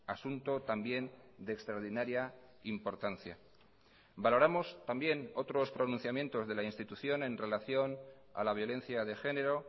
asunto también de extraordinaria importancia valoramos también otros pronunciamientos de la institución en relación a la violencia de género